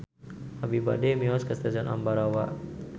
Abi bade mios ka Stasiun Ambarawa